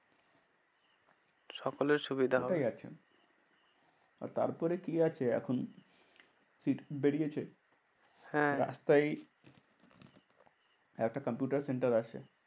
সকলের সুবিধা হবে। ওটাই আছে আর তারপরে কি আছে এখন? seat বেরিয়েছে হ্যাঁ রাস্তায় একটা কম্পিউটার center আছে।